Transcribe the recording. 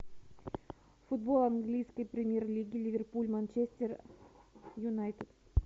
футбол английской премьер лиги ливерпуль манчестер юнайтед